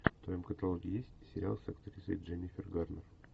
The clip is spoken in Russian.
в твоем каталоге есть сериал с актрисой дженнифер гарнер